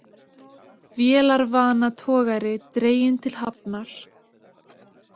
Vélarvana togari dreginn til hafnar